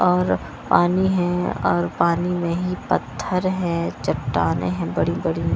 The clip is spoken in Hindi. और पानी है और पानी में ही पत्थर हैं चट्टाने हैं बड़ी बड़ी --